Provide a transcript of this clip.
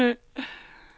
Tunø